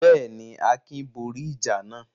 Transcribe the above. Bẹ́ẹ̀ ni, Akin borí ìjà náà.